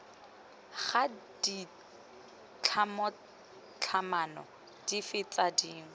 ga ditlhatlhamano dife tse dingwe